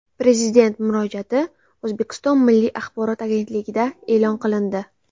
Prezident murojaati O‘zbekiston Milliy axborot agentligida e’lon qilindi .